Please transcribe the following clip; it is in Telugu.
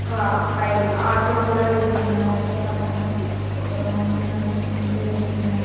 ఒక బై ఆటో కూడా వెళ్తుంది అలాగే పక్కన ఒక మనిషి నడుచుకుంటూ వెళ్తున్నా--